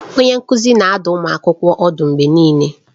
Onye nkuzi na-adụ ụmụ akwụkwọ ọdụ mgbe niile.